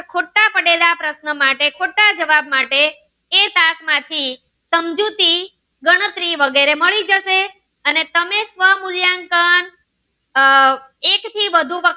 ખોટા પડેલા પ્રશ્ન માટે ખોટા પડેલ જવાબ માટે એ ક્લાસ માંથી તમને સમજૂતી અને ગણતરી વગેરે તમને મળી જશે અને તમે સ્વ મૂલ્યાંકન આહ એક થી વધુ વખત